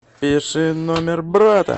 пиши номер брата